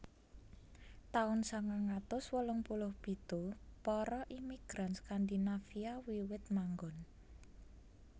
Taun sangang atus wolung puluh pitu Para imigran Skandinavia wiwit manggon